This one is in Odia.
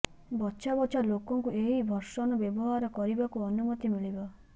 ବଛା ବଛା ଲୋକଙ୍କୁ ଏହି ଭର୍ସନ ବ୍ୟବହାର କରିବାକୁ ଅନୁମତି ମିଳିବ